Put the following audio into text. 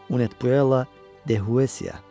Unet Buella De Huesiya.